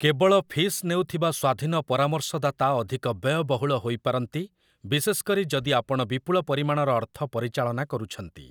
କେବଳ-ଫିସ୍ ନେଉଥିବା ସ୍ୱାଧୀନ ପରାମର୍ଶଦାତା ଅଧିକ ବ୍ୟୟବହୁଳ ହୋଇପାରନ୍ତି, ବିଶେଷ କରି ଯଦି ଆପଣ ବିପୁଳ ପରିମାଣର ଅର୍ଥ ପରିଚାଳନା କରୁଛନ୍ତି ।